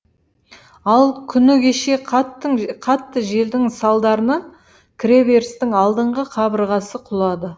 ал күні кеше қатты желдің салдарынан кіреберістің алдыңғы қабырғасы құлады